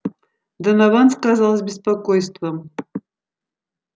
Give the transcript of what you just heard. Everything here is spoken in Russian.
донован сказал с беспокойством